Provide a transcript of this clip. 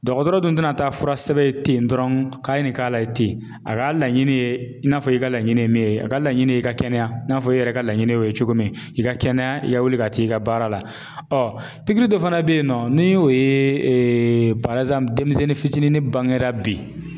Dɔgɔtɔrɔ dun tɛna taa fura sɛbɛn ten dɔrɔn k'a ye nin k'a la ten a ka laɲini ye i n'a fɔ i ka laɲini ye min ye a ka laɲini ye i ka kɛnɛya i n'a fɔ e yɛrɛ ka laɲini o ye cogo min i ka kɛnɛya i ka wuli ka t'i ka baara la pikiri dɔ fana beyinɔ ni o ye denmisɛnnin fitinin bangera bi.